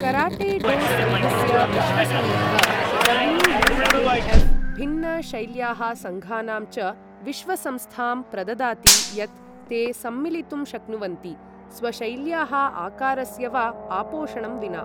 Karate do सङ्घस्य विश्वसङ्घः W U K F भिन्न शैल्याः सङ्घानां च विश्व संस्थां प्रददाति यत् ते सम्मिलितुं शक्नुवन्ति, स्वशैल्याः आकारस्य वा आपोषणं विना।